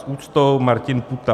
S úctou Martin Půta."